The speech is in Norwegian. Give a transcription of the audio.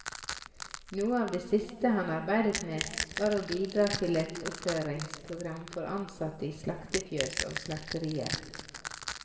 Noe av det siste han arbeidet med, var å bidra til et opplæringsprogram for ansatte i slaktefjøs og slakterier.